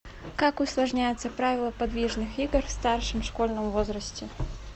как усложняются правила подвижных игр в старшем школьном возрасте